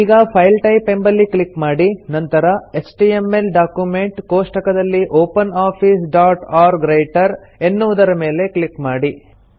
ಈಗ file type ಎಂಬಲ್ಲಿ click ಮಾಡಿ ನಂತರ ಎಚ್ಟಿಎಂಎಲ್ ಡಾಕ್ಯುಮೆಂಟ್ ಕೋಷ್ಠಕದಲ್ಲಿ ಎನ್ನುವುದರ ಮೇಲೆ ಕ್ಲಿಕ್ ಮಾಡಿ